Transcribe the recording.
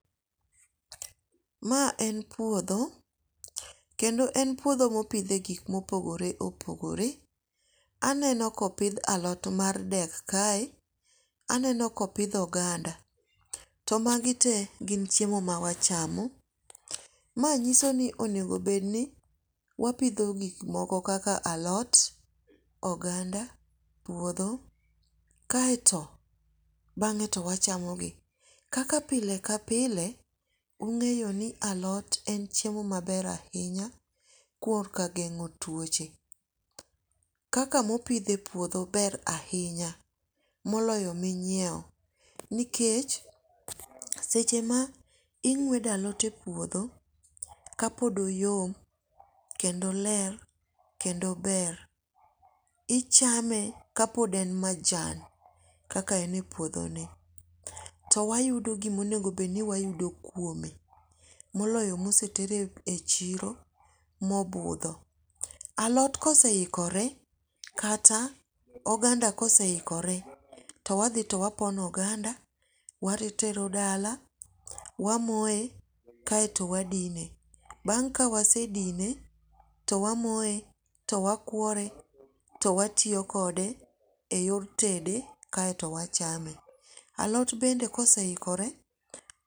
Ma en puodho kendo en puodho mopidhe gik mopogore opogoore. Aneno ka opidh alot mar dek kae. Aneno kopidh oganda. To magi te gin chiemo ma wachamo. Ma nyiso ni onego bed ni wapidho gik moko kaka alot, oganda, budho kaeto bang'e to wachamo gi. Kaka pile ka pile, ung'eyo ni alot en chiemo maber ahinya kuom ka geng'o tuoche. Kaka mopidh e puodho ber ahinya moloyo minyiew. Nikech seche ma ing'uedo alot e puodho ka pod oyom kendo oler kendo ober, ichame ka pod en majan kaka en e puodho ni. To wayudo gimonego bed ni wayudo kuome. Moloyo mo ose ter e chiro mobudho. Alot kose ikore kata oganda koseikore, to wadhi to wapono oganda, watero dala, wamoye kaeto kadine. Bang' ka wasedine to wamoye to wakuore to watiyokode e yor tede kaeto wachame. Alot bende kose ikore